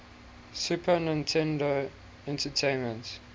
super nintendo entertainment